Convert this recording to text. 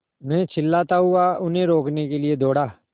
मैं चिल्लाता हुआ उन्हें रोकने के लिए दौड़ा